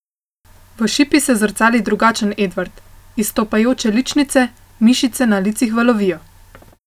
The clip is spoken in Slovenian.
V šipi se zrcali drugačen Edvard, izstopajoče ličnice, mišice na licih valovijo.